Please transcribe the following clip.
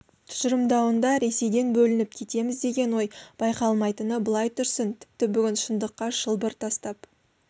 тұжырымдауында ресейден бөлініп кетеміз деген ой байқалмайтыны былай тұрсын тіпті бүгінгі шындыққа шылбыр тастап